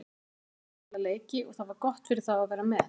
Þeir verða að spila leiki og það var gott fyrir þá að vera með.